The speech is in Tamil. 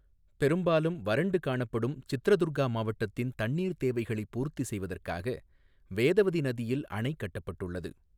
பெரும்பாலும் வறண்டு காணப்படும் சித்ரதுர்கா மாவட்டத்தின் தண்ணீர் தேவைகளைப் பூர்த்தி செய்வதற்காக வேதவதி நதியில் அணை கட்டப்பட்டுள்ளது.